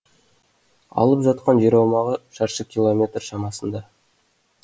алып жатқан жер аумағы шаршы километр шамасында